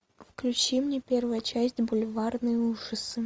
включи мне первая часть бульварные ужасы